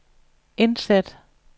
indsæt